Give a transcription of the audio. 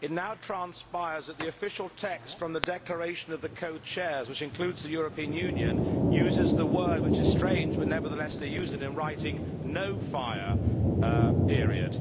It now transpires that the official text from the Declaration of the Co Chairs, which includes the European Union, uses the wording which is strange, but nevertheless they use it in writing no fire' period.